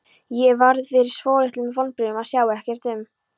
Ég varð fyrir svolitlum vonbrigðum að sjá ekkert um